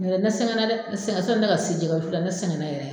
Nɔtɛ ,ne sɛgɛnna dɛ , ne sɛgɛnna dɛ sɔni ne ka se jɛgɛ wusu , ne sɛgɛɛnna yɛrɛ de.